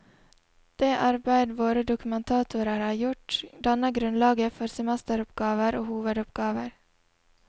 Det arbeid våre dokumentatorer har gjort, danner grunnlaget for semesteroppgaver og hovedoppgaver.